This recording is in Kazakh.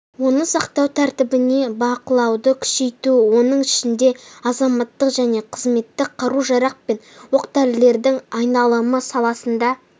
оны сақтау тәртібіне бақылауды күшейту соның ішінде азаматтық және қызметтік қару-жарақ пен оқ-дәрілердің айналымы саласында